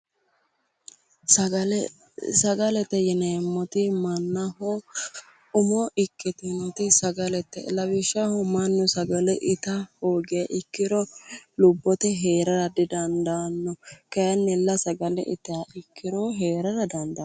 Sagale, sagalete yineemmoti mannaho umo ikkitinoti sagalete lawishshaho mannu sagale ita hoogiha ikkiro lubbote heerara didandaanno. kaayiinnilla sagale itiha ikkiro heerara dandaanno.